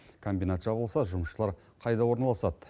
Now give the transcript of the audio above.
комбинат жабылса жұмысшылар қайда орналасады